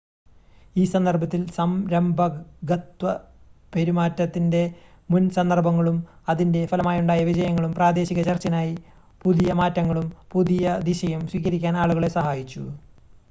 ഈ സന്ദർഭത്തിൽ സംരംഭകത്വ പെരുമാറ്റത്തിൻ്റെ മുൻ സന്ദർഭങ്ങളും അതിൻ്റെ ഫലമായുണ്ടായ വിജയങ്ങളും പ്രാദേശിക ചർച്ചിനായി പുതിയ മാറ്റങ്ങളും പുതിയ ദിശയും സ്വീകരിക്കാൻ ആളുകളെ സഹായിച്ചു